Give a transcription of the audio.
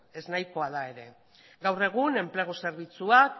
eznahikoa da ere gaur egun enplegu zerbitzuak